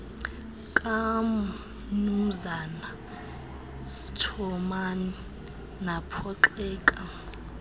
kamnumzana schoeman baphoxeka